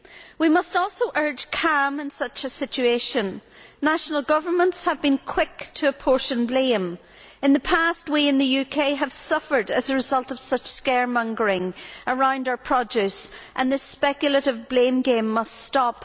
We must also urge calm in such a situation. National governments have been quick to apportion blame. In the past, we in the UK have suffered as a result of such scaremongering around our produce, and this speculative blame game must stop.